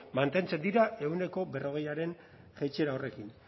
mantentzen dira ehuneko berrogeiaren jaitsiera horrekin